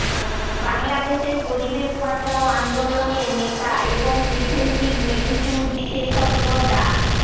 বাংলাদেশের পরিবেশ বাঁচাও আন্দোলনের নেতা এবং প্রিভেনটিভ মেডিসিন বিশেষজ্ঞ ডা